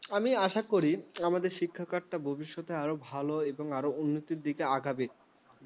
আমি আশা করি আমাদের শিক্ষা কাটা কিছু ভালো এবং আরো উন্নত টিকে এগাবে